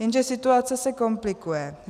Jenže situace se komplikuje.